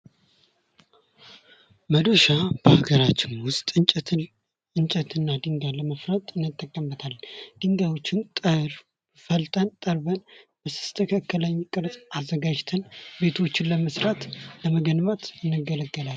መዶሻ በአገራችን ውስጥ እንጨትንና ድንጋይ ለመፍለጥ እንጠቀምበታለን ድንጋዮችን ፈልጠን ጠርበን በተስተካከለ ቅርጽ አዘጋጅተን ቤቶችን ለመስራት፣ ለመገንባት እንገለገላለን።